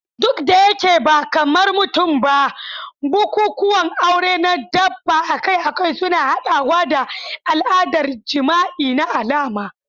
Duk da yake ba kamar mutum ba, bukukuwan aure na dabba akai-akai suna haɗawa da al'adar jima'i na alama.